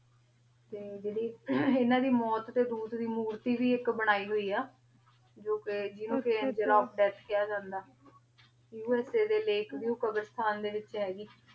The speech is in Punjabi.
ਤੇ ਜੇਰੀ ਏਨਾ ਦੀ ਮੋਉਤ ਦੇ ਦੂੜ ਦੀ ਮੋਉਰਤੀ ਵੀ ਬਣਾਈ ਹੋਈ ਆ ਜੋ ਕੇ ਜਿਨੋ ਕੇ ਏੰਗੇ death ਹਯ ਜਾਂਦਾ USA ਦੇ ਲਾਕੇ ਵਿਯੂ ਕ਼ਾਬ੍ਰਾਸ੍ਤਾਨ ਦੇ ਵਿਚ ਹੇਗੀ ਆਯ